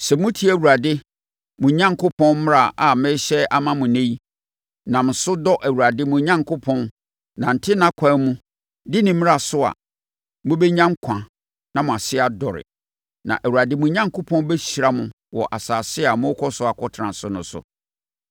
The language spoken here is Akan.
Sɛ motie Awurade, mo Onyankopɔn, mmara a merehyɛ ama mo ɛnnɛ yi, nam so dɔ Awurade, mo Onyankopɔn, nante nʼakwan mu, di ne mmara so a, mobɛnya nkwa na mo ase adɔre, na Awurade, mo Onyankopɔn bɛhyira mo wɔ asase a morekɔ akɔtena so no so.